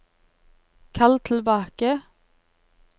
kall tilbake